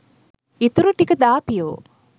ඉතුරු ටික දාපියෝ